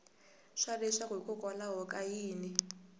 swa leswaku hikokwalaho ka yini